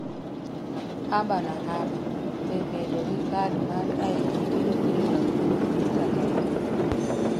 Haba na Haba: Be bedo gi kad mar ID biro kelo lokruok e piny Tanzania?